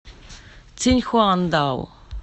циньхуандао